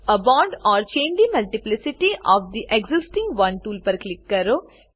add a bond or change the multiplicity of the existing one tool પર click કરો